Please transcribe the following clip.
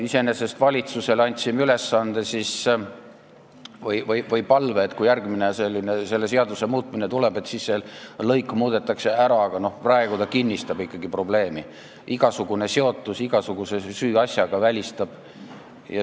Me andsime valitsusele ülesande või esitasime palve, et kui selle seaduse järgmine muutmine tuleb, et siis see lõik muudetaks ära, aga praegu ta ikkagi kinnistab probleemi, igasugune seotus igasuguse süüasjaga on välistav.